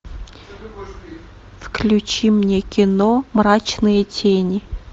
включи мне кино мрачные тени